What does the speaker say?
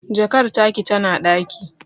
Jakar taki tana ɗaki